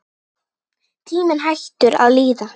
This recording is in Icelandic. Tíminn hættur að líða.